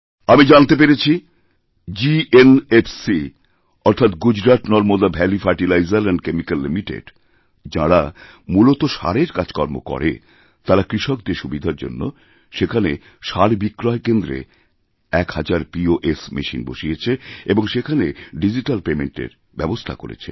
আমি জানতে পেরেছি জিএনএফসি অর্থাৎ Gujarat Narmada valley fertilizer and chemical limited যাঁরা মূলত সারের কাজকর্ম করে তারা কৃষকদের সুবিধার জন্য সেখানেসার বিক্রয়কেন্দ্রে এক হাজার পোস মেশিন বসিয়েছে এবংসেখানে ডিজিট্যাল পেমেন্টএর ব্যবস্থা করেছে